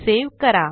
save करा